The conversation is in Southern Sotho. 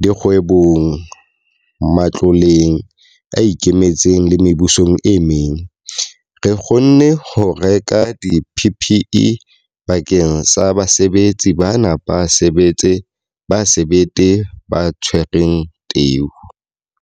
dikgwebong, matloleng a ikemetseng le mebusong e meng, re kgonne ho reka di-PPE bakeng sa basebetsi bana ba sebete ba tshwereng teu.